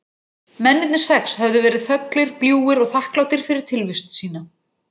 Mennirnir sex höfðu verið þöglir, bljúgir og þakklátir fyrir tilvist sína.